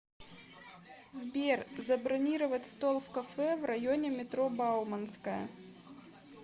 сбер забронировать стол в кафе в районе метро бауманская